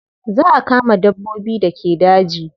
Za a kama dabbobin da ke daji.